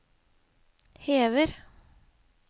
hever